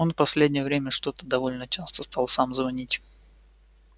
он в последнее время что-то довольно часто стал сам звонить